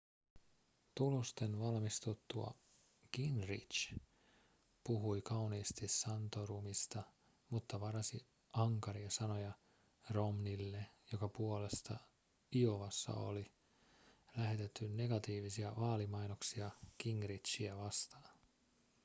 tulosten valmistuttua gingrich puhui kauniisti santorumista mutta varasi ankaria sanoja romneylle jonka puolesta iowassa oli lähetetty negatiivisia vaalimainoksia gingrichiä vastaan